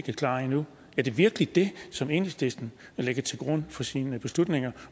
er klar endnu er det virkelig det som enhedslisten lægger til grund for sine beslutninger